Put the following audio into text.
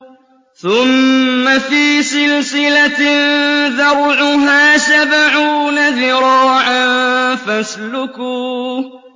ثُمَّ فِي سِلْسِلَةٍ ذَرْعُهَا سَبْعُونَ ذِرَاعًا فَاسْلُكُوهُ